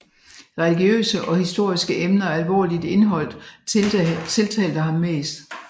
Religiøse og historiske emner af alvorligt indhold tiltalte ham mest